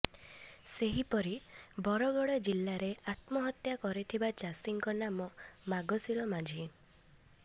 ସେହିପରି ବରଗଡ଼ ଜିଲ୍ଲାରେ ଆତ୍ମହତ୍ୟା କରିଥିବା ଚାଷୀଙ୍କ ନାମ ମଗଶୀର ମାଝୀ